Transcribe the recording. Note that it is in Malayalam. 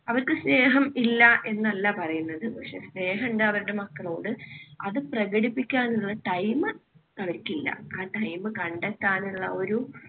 അവർക്ക് സ്നേഹം ഇല്ല എന്നല്ല പറയുന്നത്. പക്ഷേ സ്നേഹമുണ്ട് അവരുടെ മക്കളോട്. അത് പ്രകടിപ്പിക്കാനുള്ള time അവർക്കില്ല. ആ time കണ്ടെത്താനുള്ള ഒരു